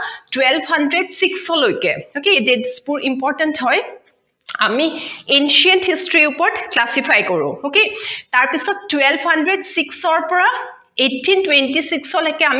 twelve hundred six ৰ লৈকে okay dates বোৰ important হয় আমি ancient history ওপৰত classify কৰো okay তাৰপিছত twelve hundred six ৰ পৰা eighteen twenty six লৈকে আমাক